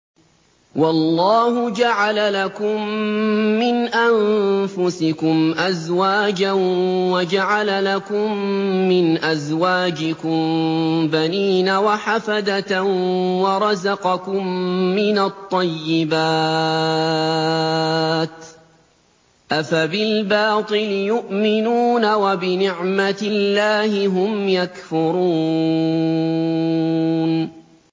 وَاللَّهُ جَعَلَ لَكُم مِّنْ أَنفُسِكُمْ أَزْوَاجًا وَجَعَلَ لَكُم مِّنْ أَزْوَاجِكُم بَنِينَ وَحَفَدَةً وَرَزَقَكُم مِّنَ الطَّيِّبَاتِ ۚ أَفَبِالْبَاطِلِ يُؤْمِنُونَ وَبِنِعْمَتِ اللَّهِ هُمْ يَكْفُرُونَ